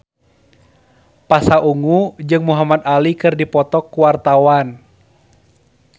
Pasha Ungu jeung Muhamad Ali keur dipoto ku wartawan